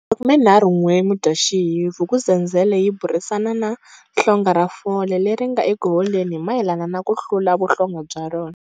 31 Mudyaxihi, Vuk'uzenzele yi burisana na hlonga ra fole leri ri nga eku holeni hi mayelana na ku hlula vuhlonga bya rona.